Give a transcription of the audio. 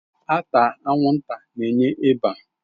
Ata anwụnta na-enye ịba.